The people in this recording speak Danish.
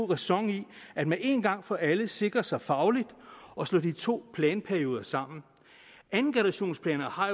ræson i at man en gang for alle sikrer sig fagligt og slår de to planperioder sammen andengenerationsplaner har